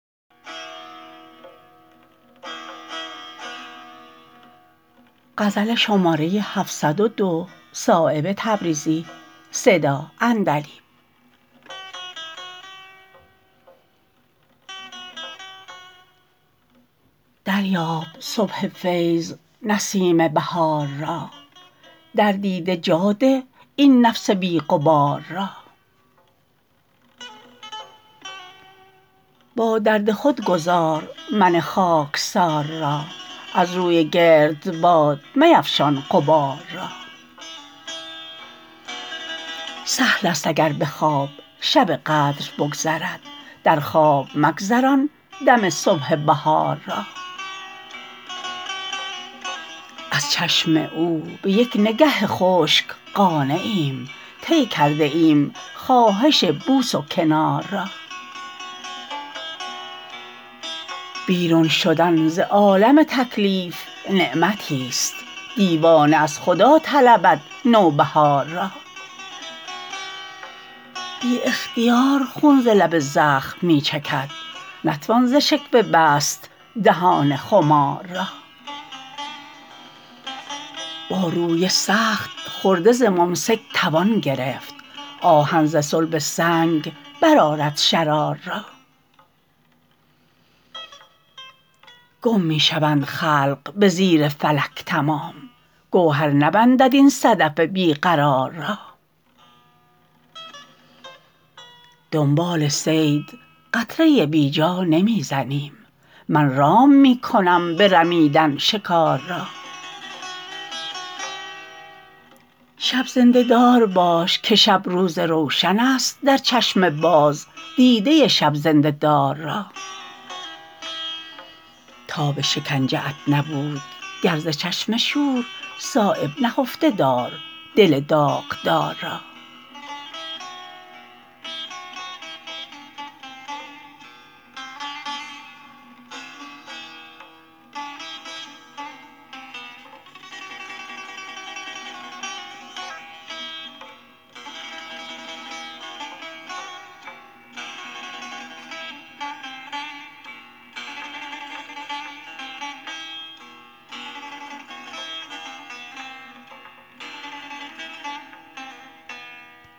دریاب صبح فیض نسیم بهار را در دیده جا ده این نفس بی غبار را با درد خود گذار من خاکسار را از روی گردباد میفشان غبار را سهل است اگر به خواب شب قدر بگذرد در خواب مگذران دم صبح بهار را از چشم او به یک نگه خشک قانعیم طی کرده ایم خواهش بوس و کنار را بیرون شدن ز عالم تکلیف نعمتی است دیوانه از خدا طلبد نوبهار را بی اختیار خون ز لب زخم می چکد نتوان ز شکوه بست دهان خمار را با روی سخت خرده ز ممسک توان گرفت آهن ز صلب سنگ برآرد شرار را گم می شوند خلق به زیر فلک تمام گوهر نبندد این صدف بی قرار را دنبال صید قطره بی جا نمی زنم من رام می کنم به رمیدن شکار را شب زنده دار باش که شب روز روشن است در چشم باز دیده شب زنده دار را تاب شکنجه ات نبود گر ز چشم شور صایب نهفته دار دل داغدار را